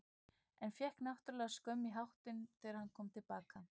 En fékk náttúrlega skömm í hattinn þegar hann kom til baka.